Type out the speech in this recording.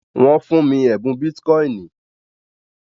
nwọn fun mi ẹbùn Bitcoin